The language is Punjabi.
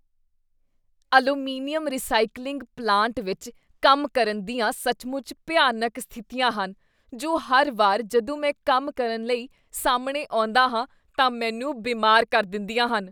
ਐਲੂਮੀਨੀਅਮ ਰੀਸਾਈਕਲਿੰਗ ਪਲਾਂਟ ਵਿੱਚ ਕੰਮ ਕਰਨ ਦੀਆਂ ਸੱਚਮੁੱਚ ਭਿਆਨਕ ਸਥਿਤੀਆਂ ਹਨ ਜੋ ਹਰ ਵਾਰ ਜਦੋਂ ਮੈਂ ਕੰਮ ਕਰਨ ਲਈ ਸਾਹਮਣੇ ਆਉਂਦਾ ਹਾਂ ਤਾਂ ਮੈਨੂੰ ਬਿਮਾਰ ਕਰ ਦਿੰਦੀਆਂ ਹਨ।